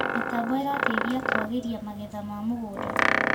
Mĩtambo ĩrateĩthĩa kũagĩrĩa magetha ma mũgũnda